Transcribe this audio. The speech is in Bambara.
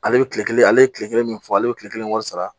Ale bɛ tile kelen ale ye tile kelen min fɔ ale bɛ tile kelen wari sara